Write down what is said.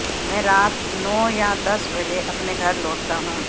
मैं रात नौ या दस बजे अपने घर लौटता हूं